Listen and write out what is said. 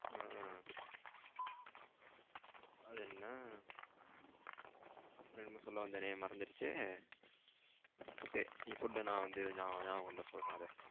அஹ அது என்ன அப்புறம் என்னமோ சொல்ல வந்தேனே மறந்துருச்சே அஹ நீ சொல்லு நா வந்து நா ஞாபகம் வந்த சொல்றேன் அத.